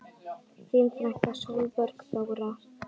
Þín frænka Sólborg Þóra.